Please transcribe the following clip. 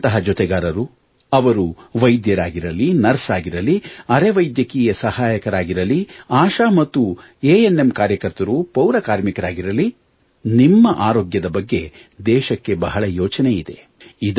ನಿಮ್ಮಂತಹ ಜೊತೆಗಾರರು ಅವರು ವೈದ್ಯರಾಗಿರಲಿ ನರ್ಸ್ ಆಗಿರಲಿ ಅರೆ ವೈದ್ಯಕೀಯ ಸಹಾಯಕರಾಗಿರಲಿ ಆಶಾ ಮತ್ತು ಎ ಎನ್ ಎಂ ಕಾರ್ಯಕರ್ತರು ಪೌರ ಕಾರ್ಮಿಕರಾಗಿರಲಿ ನಿಮ್ಮ ಆರೋಗ್ಯದ ಬಗ್ಗೆ ದೇಶಕ್ಕೆ ಬಹಳ ಯೋಚನೆ ಇದೆ